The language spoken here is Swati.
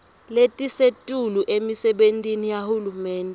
letisetulu emisebentini yahulumende